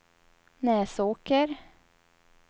Näsåker